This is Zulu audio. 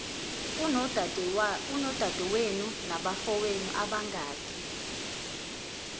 unodadewenu nabafowenu abangaki